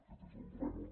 aquest és el drama